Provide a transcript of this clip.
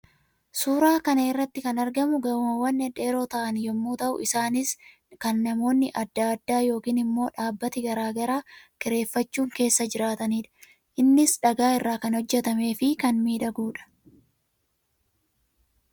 Suuraa kana irratti kan argamu gamoowwan dhedheeroo ta'an yammuu ta'uu; isaannis kan namoonni addaa addaa yookiin immoo dhaabbati garaa garii kireeffachuun keessa jiraataniidha. Innis dhagaa irraa kan hojjetamee fi kan miidhaguudha.